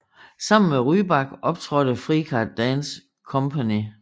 Sammen med Rybak optrådte Frikar Dance Company